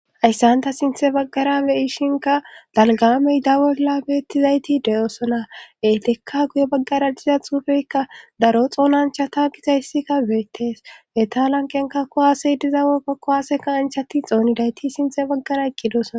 ayssanta sinthe baggara beyishinka dalgamey dawolla beettizayti deyoosona eetekka guye baggara diza xuufeykka daro xoonanchata gizayssikka beettes eta lanqenka ko waasey dizawe pako waaseka anchati xoonidayti sinte baggara iqqidosona